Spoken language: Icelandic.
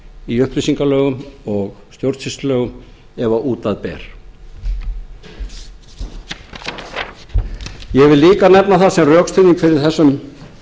í upplýsingalögum og stjórnsýslulögum ef út af ber ég vil líka nefna það sem rökstuðning fyrir þessum